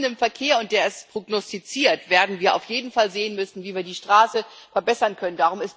Aber bei wachsendem Verkehr und der ist prognostiziert werden wir auf jeden Fall sehen müssen, wie wir die Straße verbessern können.